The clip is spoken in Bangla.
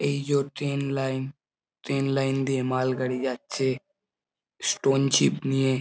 এই জো ট্রেন লাইন । ট্রেন লাইন দিয়ে মালগাড়ি যাচ্ছে স্টোনচিপ নিয়ে।